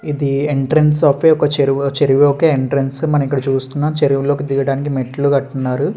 ఇది entrance of చెరువు. చెరువు యొక్క ఎంట్రన్స్ ఇక్కడ మనము చూస్తున్నం చెరువులోకీ దిగడానికి మెట్లు కడుతున్నారు.